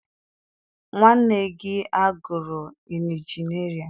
Nwanne gị agụrụ injinịarịn?